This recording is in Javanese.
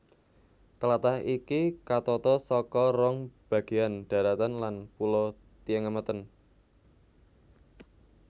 Tlatah iki katata saka rong bagéyan dharatan lan pulo Tiengemeten